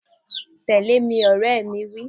Tẹ̀lé mi, ọ̀rẹ́ mi wí